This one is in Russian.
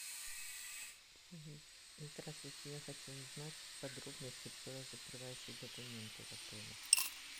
здравствуйте я хочу узнать подробности про закрывающие документы в отеле